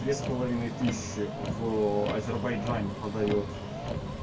две с половиной тысячи в азербайджане подаёт